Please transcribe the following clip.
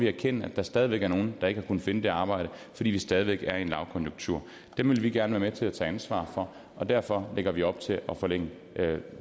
erkende at der stadig væk er nogle der ikke har kunnet finde et arbejde fordi vi stadig væk er i en lavkonjunktur dem vil vi gerne være med til at tage ansvar for og derfor lægger vi op til at forlænge